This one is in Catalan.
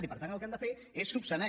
i per tant el que hem de fer és solucionar